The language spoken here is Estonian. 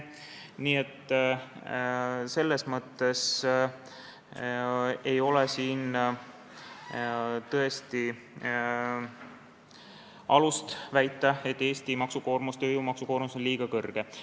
Nii et ei ole tõesti alust väita, et Eesti tööjõu maksukoormus on liiga kõrge.